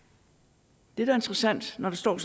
det der er interessant når der står